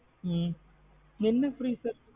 ஹம் என்ன free service.